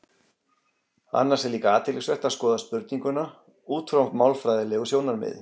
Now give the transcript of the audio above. Annars er líka athyglisvert að skoða spurninguna út frá málfræðilegu sjónarmiði.